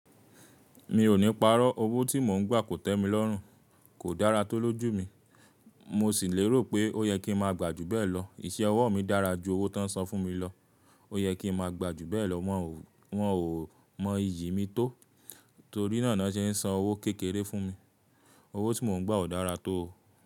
Mi ò ní parọ́, owó tí mò ń gbà kò tẹ́ mi lọ́rùn, kò dára tó lójú mi. Mo sì lérò pé ó yẹ kí n máa gbà jù bẹ́ẹ̀ lọ. Iṣẹ́ ọwọ́ mi dára ju owó tó ń san fún mi lọ, ó yẹ kí n máa gbà jù bẹ́ẹ̀ lọ won o. Wọn ò mọ iyì mi tó torí náà ni wọ́n se ń san owó kékeré fún mi. Owó tí mò ń gbà ò dára tó.